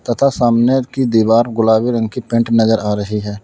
तथा सामने की दीवार गुलाबी रंग की पेंट नजर आ रही है।